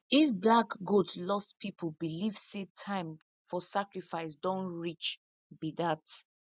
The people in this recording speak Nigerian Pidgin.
if black goat lost people believe say time for sacrifice don reach be dat